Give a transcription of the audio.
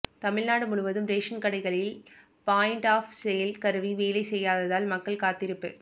தமிழ்நாடு முழுவதும் ரேஷன் கடைகளில் point of sale கருவி வேலை செய்யாததால் மக்கள் காத்திருப்பு